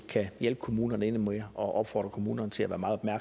kan hjælpe kommunerne endnu mere og opfordre kommunerne til at være meget